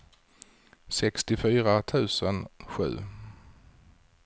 sextiofyra tusen sju